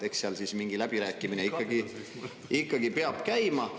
Eks seal siis mingi läbirääkimine ikkagi peab käima.